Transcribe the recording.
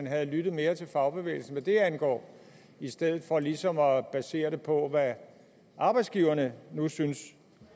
have lyttet mere til fagbevægelsen hvad det angår i stedet for ligesom at basere det på hvad arbejdsgiverne nu syntes